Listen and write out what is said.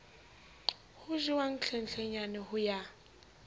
ho jewang hlenhlenyane ho ya